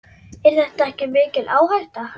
Er þetta ekki mikil áhætta?